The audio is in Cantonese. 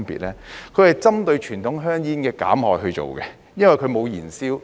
第一，它是針對傳統香煙的減害而做的，因為它沒有燃燒。